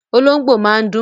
Olóhóngbò máa ń dún